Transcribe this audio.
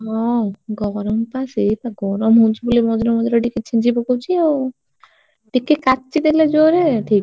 ହଁ ଗରମ ବା ସେଇ ବା ଗରମ ହଉଛି ବୋଲି ମଝିରେ ମଝିରେ ଟିକେ ଛିଞ୍ଚି ପକଉଛି ଆଉ ଟିକେ କାଚିଦେଲେ ଜୋରେ ଠିକ।